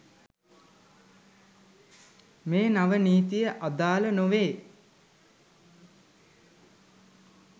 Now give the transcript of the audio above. මේ නව නීතිය අදාළ නොවේ